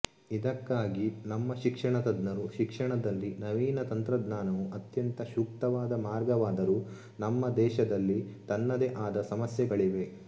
ಇದಕ್ಕಾಗಿ ನಮ್ಮ ಶಿಕ್ಷಣ ತಜ್ಞರು ಶಿಕ್ಷಣದಲ್ಲಿ ನವೀನ ತಂತ್ರಜ್ಞಾನವು ಅತ್ಯಂತ ಸೂಕ್ತವಾದ ಮಾರ್ಗವಾದರೂ ನಮ್ಮ ದೇಷದಲ್ಲಿ ತನ್ನದೇ ಆದ ಸಮಸ್ಯೆಗಳಿವೆ